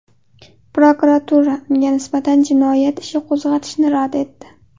Prokuratura unga nisbatan jinoyat ishi qo‘zg‘atishni rad etdi.